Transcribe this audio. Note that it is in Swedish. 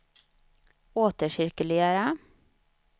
återcirkulera